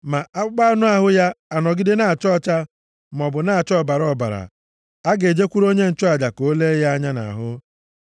ma akpụkpọ anụ ahụ ya anọgide na-acha ọcha, maọbụ na-acha ọbara ọbara, a ga-ejekwuru onye nchụaja ka o lee ya anya nʼahụ.